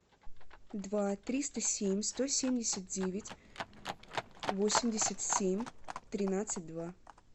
два триста семь сто семьдесят девять восемьдесят семь тринадцать два